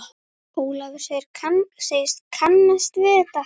Ólafur segist kannast við þetta.